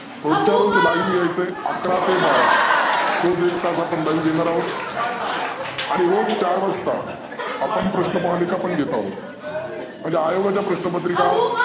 रोजच्या रोज live यायचं आहे अकरा ते बारा रोज एक तास आपण live घेनार आहोत आणि रोज चार वाजता आपण प्रश्नप्रनालीका पण घेनार आहोत. म्हणजे आयोगाच्या प्रश्न पत्रीका